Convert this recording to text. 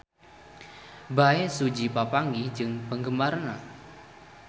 Bae Su Ji papanggih jeung penggemarna